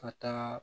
Ka taa